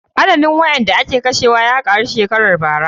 Adadin waɗanda aka kashe ya ƙaru shekarar bara.